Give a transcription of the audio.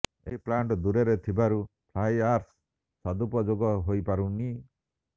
ଏହି ପ୍ଲାଣ୍ଟ ଦୂରରେ ଥିବାରୁ ଫ୍ଲାଇ ଆସ୍ର ସଦୁପଯୋଗ ହୋଇପାରୁନି